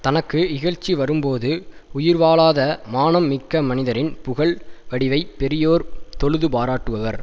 தனக்கு இகழ்ச்சி வரும்போது உயிர்வாழாத மானம் மிக்க மனிதரின் புகழ் வடிவைப் பெரியோர் தொழுது பாராட்டுவர்